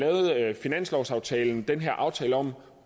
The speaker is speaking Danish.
i finanslovsaftalen lavede den aftale om